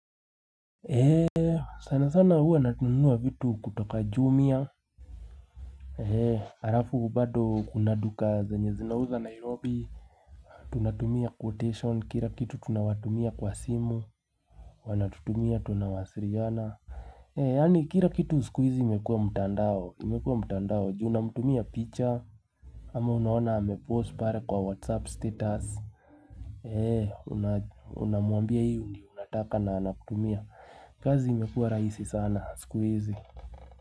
Heee sana sana huwa natunua vitu kutoka jumia Heee Arafu bado kuna duka zenye zinauza nairobi tunatumia quotation kira kitu tunawatumia kwa simu Wanatutumia tunawasiriana Heee yani kira kitu sikuizi imekuwa mtandao imekuwa mtandao juu namtumia picha ama unaona ame post pare kwa whatsapp status Heee unamuambia hiu ni unataka na anakutumia kazi imekuwa raisi sana sikuizi.